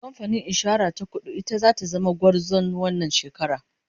kamfanin insura ta kudu ita zata zama gwarzon wannan shekara